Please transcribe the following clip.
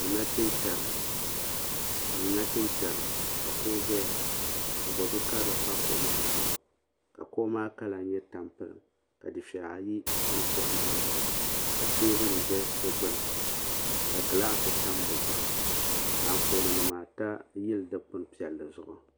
Doo nachintɛri ka kuɣu zaya ka bodu'karili pa kuɣu maa zuɣu ka kuɣu maa kala nyɛ tampilim ka dufeya ayi tam kuɣu maa zuɣu ka teebuli za di gbini ka gilaasi tam di zuɣu ka anfooni nima ata yili dikpin piɛlli zuɣu.